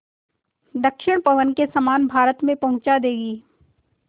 दक्षिण पवन के समान भारत में पहुँचा देंगी